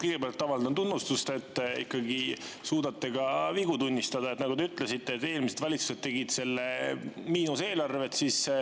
Kõigepealt avaldan tunnustust selle eest, et te ikkagi suudate ka vigu tunnistada, sest nagu te ütlesite, eelmised valitsused tegid miinuseelarved.